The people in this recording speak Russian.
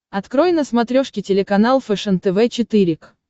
открой на смотрешке телеканал фэшен тв четыре к